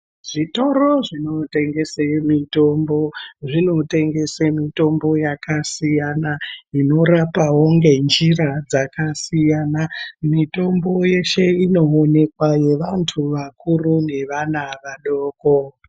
Zvitoro zvinotengese mitombo zvinotengeswe mitombo yakasiyana inorapawo ngenjira dzakasiyana. Mitombo yeshe inoonekwa, yevantu vakuru nevana vadoko.